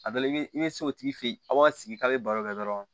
A dɔ la i bɛ i bɛ se o tigi fɛ ye a' b'aw sigi k'a bɛ baro kɛ dɔrɔn